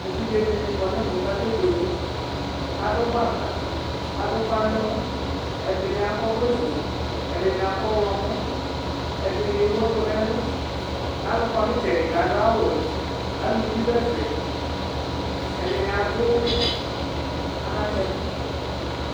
Evidze dini kɔ n'ɛmɛ k'akebuele Adʋ gbaka, ad'ʋfa n'ɛmɔ, ɛdini akɔ ɔvlɛ fue, ɛdini akɔ ɔɣlɔmɔ, ɛdini ewu ɛkʋ n'ɛlʋ Alʋ kɔnʋ itsɛdi k'adʋ awʋ wɛ, aluvi dʋ ɛfɛ Ɛdini adʋ anatsɛ kʋ